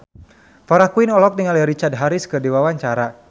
Farah Quinn olohok ningali Richard Harris keur diwawancara